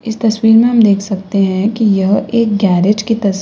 इस तस्वीर में हम देख सकते है कि यह एक गैरेज की तस--